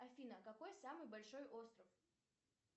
афина какой самый большой остров